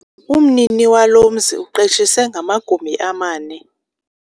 Umnini walo mzi uqeshise ngamagumbi amane.